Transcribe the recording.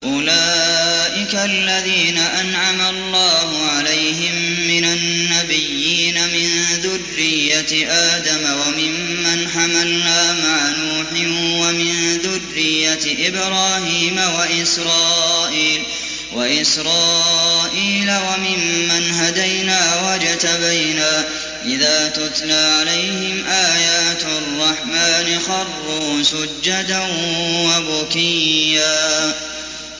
أُولَٰئِكَ الَّذِينَ أَنْعَمَ اللَّهُ عَلَيْهِم مِّنَ النَّبِيِّينَ مِن ذُرِّيَّةِ آدَمَ وَمِمَّنْ حَمَلْنَا مَعَ نُوحٍ وَمِن ذُرِّيَّةِ إِبْرَاهِيمَ وَإِسْرَائِيلَ وَمِمَّنْ هَدَيْنَا وَاجْتَبَيْنَا ۚ إِذَا تُتْلَىٰ عَلَيْهِمْ آيَاتُ الرَّحْمَٰنِ خَرُّوا سُجَّدًا وَبُكِيًّا ۩